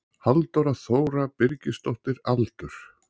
Halldóra Þóra Birgisdóttir Aldur?